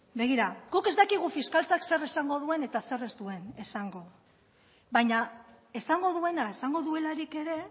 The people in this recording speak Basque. begira guk ez dakigu fiskaltzak zer esango duen eta zer ez duen esango baina esango duena esango duelarik ere